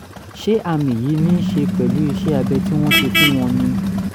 ṣé àmì yìí ní í ṣe pẹ̀lú iṣẹ́ abẹ tí wọ́n ṣe fún wọn ni?